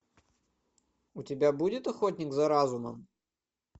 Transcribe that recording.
у тебя будет охотник за разумом